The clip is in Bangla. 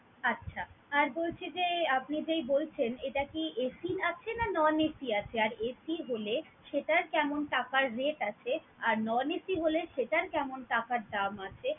আচ্ছা! আর বলছি যে, আপনি যেই বলছেন এটা কি AC আছে, না non AC আছে আর AC হলে সেটার কেমন টাকার rate আছে আর non AC হলে সেটার কেমন টাকার দাম আছে